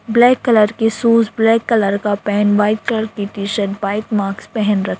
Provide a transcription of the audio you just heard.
black colour के shoes black colour का pant white colour की टी शर्ट व्हाईट माक्स पेहैन रख --